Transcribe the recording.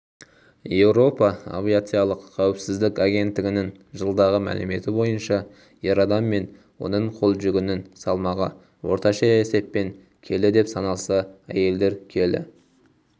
еуропа авиациялық қауіпсіздік агенттігінің жылдағы мәліметі бойынша ер адам мен оның қол жүгінің салмағы орташа есеппен келі деп саналса әйелдер келі